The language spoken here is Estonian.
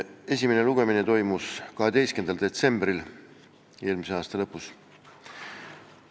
Esimene lugemine toimus 12. detsembril eelmise aasta lõpus.